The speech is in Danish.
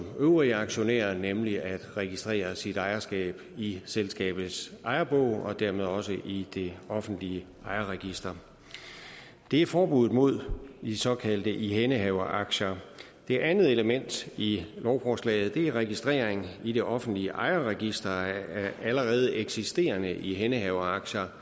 øvrige aktionærer nemlig ved at registrere sit ejerskab i selskabets ejerbog og dermed også i det offentlige ejerregister det er forbuddet mod de såkaldte ihændehaveraktier det andet element i lovforslaget er registrering i det offentlige ejerregister af allerede eksisterende ihændehaveraktier